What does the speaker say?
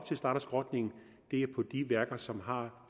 starte skrotningen er på de værker som har